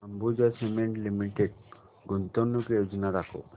Ambuja cement limited गुंतवणूक योजना दाखव